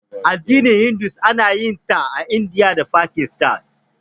Addinin Hindu ana yin sa a Indiya da Fakistan.